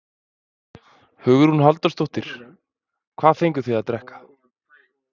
Hugrún Halldórsdóttir: Hvað fenguð þið að drekka?